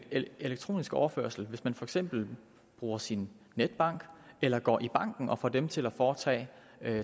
elektronisk overførsel hvis man for eksempel bruger sin netbank eller går i banken og får dem til at foretage